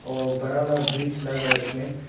और बरा वाला ब्रीच लग रहा है उसमें।